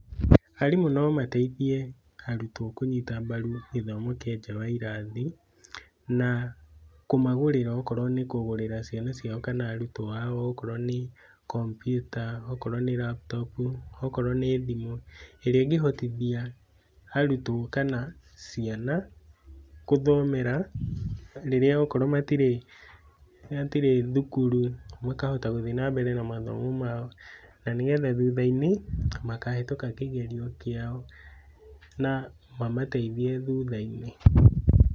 Arimũ nomateithie arutwo kũnyita mbaru gĩthomo kĩa nja wa irathi na kũmagũrĩra o korwo nĩkũgũrĩra ciana ciao kana arutwo ao okorwo nĩ kompyuta, okorwo nĩ raptopu, okorwo nĩ thimũ, ĩrĩa ĩngĩhotithia arutwo kana ciana kũtomera rĩrĩa okorwo matirĩ, matirĩ thukuru makahota gũthiĩ na mbere na mathomo mao nanĩgetha thuthainĩ makahĩtũka kĩgerio kĩao na mamateithie thutha-inĩ.